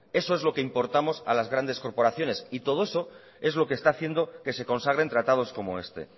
eso es lo que importamos a las grandes corporaciones y todo eso es lo que está haciendo que se consagren tratados como este